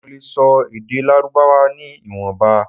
Mo le sọ èdè lárúbáwá ni ìwọ̀nba